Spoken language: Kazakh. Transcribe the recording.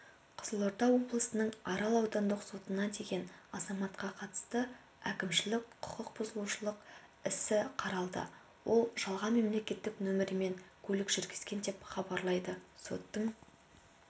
қызылорда облысының арал аудандық сотында деген азаматқа қатысты әкімшілік құқықбұзушылық ісі қаралды ол жалған мемлекеттік нөмірмен көлік жүргізген деп хабарлайды соттың